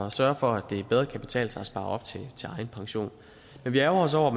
at sørge for at det bedre kan betale sig at spare op til egen pension men vi ærgrer os over